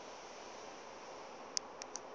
o be a šetše a